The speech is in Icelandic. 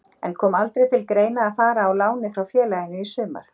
En kom aldrei til greina að fara á láni frá félaginu í sumar?